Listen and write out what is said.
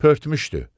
Pörtmüşdü.